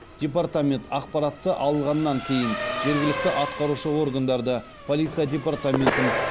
департамент ақпаратты алғаннан кейін жергілікті атқарушы органдарды полиция департаментін